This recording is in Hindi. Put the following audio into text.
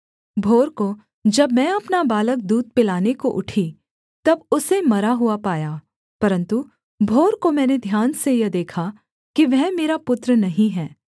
भोर को जब मैं अपना बालक दूध पिलाने को उठी तब उसे मरा हुआ पाया परन्तु भोर को मैंने ध्यान से यह देखा कि वह मेरा पुत्र नहीं है